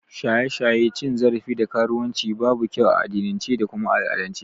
Shaye-shaye, cin zarafi da karuwan ci babu kyau a addinince da kuma al'adance